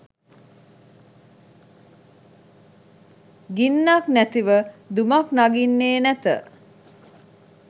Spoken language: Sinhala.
ගින්නක්‌ නැතිව දුමක්‌ නගින්නේ නැත